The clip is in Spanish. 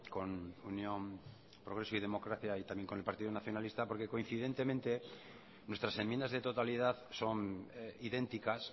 con unión progreso y democracia y también con el partido nacionalista porque coincidentemente nuestras enmiendas de totalidad son idénticas